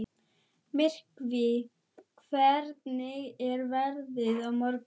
Myrkvi, hvernig er veðrið á morgun?